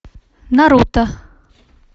наруто